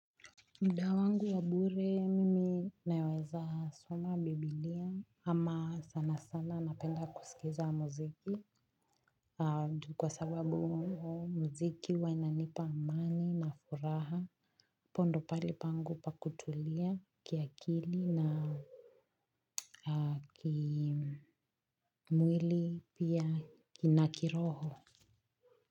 Mda wangu wa bure mimi naweza soma biblia ama sana sana napenda kusikiza muziki. Kwa sababu mziki huwa inanipa amani na furaha hapo ndo pahali pangu pa kutulia kiakili na kimwili pia na kiroho.